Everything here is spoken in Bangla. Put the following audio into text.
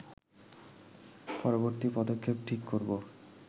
পরবর্তী পদক্ষেপ ঠিক করব